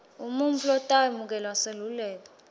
umuntfu lotawemukela selekelelo